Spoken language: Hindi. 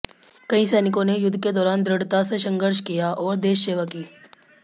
कई सैनिकों ने युद्ध के दौरान दृढ़ता से संघर्ष किया और देश सेवा की